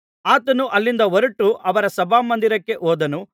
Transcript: ಆತನು ಅಲ್ಲಿಂದ ಹೊರಟು ಅವರ ಸಭಾಮಂದಿರಕ್ಕೆ ಹೋದನು